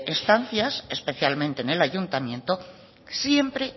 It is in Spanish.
estancias especialmente en el ayuntamiento siempre